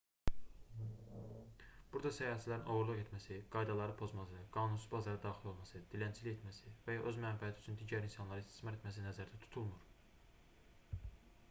burada səyahətçilərin oğurluq etməsi qaydaları pozması qanunsuz bazara daxil olması dilənçilik etməsi və ya öz mənfəəti üçün digər insanları istismar etməsi nəzərdə tutulmur